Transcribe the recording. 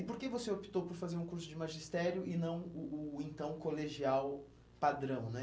E por que você optou por fazer um curso de magistério e não o o então colegial padrão, né?